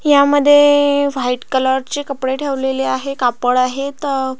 ह्यामध्ये white colour चे कपडे ठेवेलेले आहेत कापड आहेत.